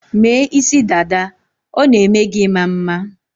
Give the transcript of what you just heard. Mee isidada, ọ na-eme gi ị̇ma mma